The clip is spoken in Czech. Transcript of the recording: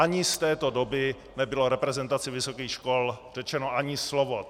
Ani z této doby nebylo reprezentaci vysokých škol řečeno ani slovo.